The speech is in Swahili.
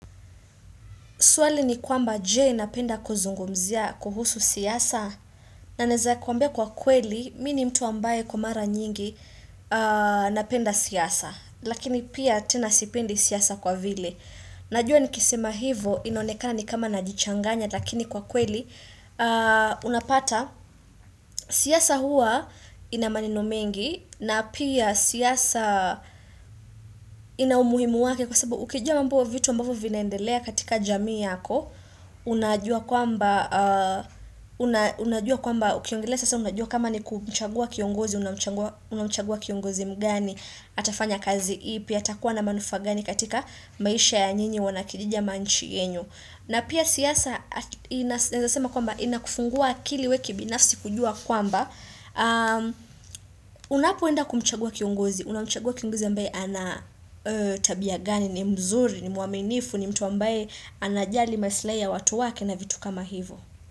Swali ni kwamba je napenda kuzungumzia kuhusu siasa na naweza kuambia kwa kweli mimi ni mtu ambaye kwa mara nyingi napenda siasa lakini pia tena sipendi siasa kwa vile. Najua nikisema hivo inonekana ni kama najichanganya lakini kwa kweli unapata siasa hua ina maneno mengi na pia siasa ina umuhimu wake kwa sababu ukijua mambo au vitu ambavyo vinaendelea katika jamii yako. Unajua kwamba unajua kwamba ukiongelea siasa unajua kama ni kumchagua kiongozi unamchagua kiongozi mgani atafanya kazi ipi atakuwa na manufaa gani katika maisha ya nyinyi wana kijiji ama nchi yenu na pia siasa naweza sema kwamba inakufungua akili wewe kibinafsi kujua kwamba unapoenda kumchagua kiongozi unamchagua kiongozi ambaye ana tabia gani ni mzuri ni mwaminifu ni mtu ambaye anajali maslahi ya watu wake na vitu kama hivyo.